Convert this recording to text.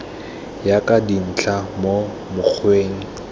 ya ka dintlha mo mokgweng